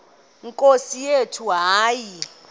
nkosi yethu hayi